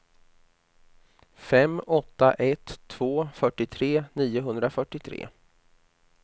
fem åtta ett två fyrtiotre niohundrafyrtiotre